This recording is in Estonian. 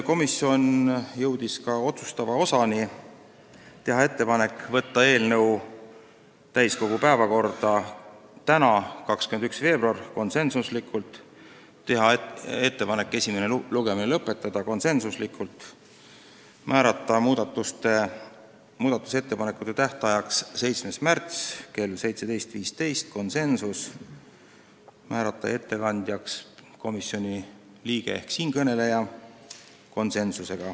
Komisjon jõudis ka otsustava osani: tehti ettepanek võtta eelnõu täiskogu päevakorda tänaseks, 21. veebruariks , tehti ettepanek esimene lugemine lõpetada ning määrata muudatusettepanekute tähtajaks 7. märts kell 17.15 ja ettekandjaks komisjoni liige ehk siinkõneleja .